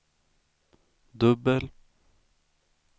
dubbel